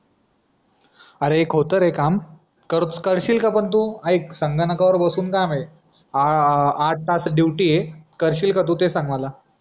अरे एक होत रे काम करशील का पण तू आइक संगणकावर बसून काम अं आठ दहा ची ड्युटी हाय करशील का तू ते सांग मला